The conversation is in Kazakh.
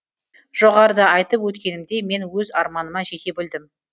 жоғарыда айтып өткенімдей мен өз арманыма жете білдім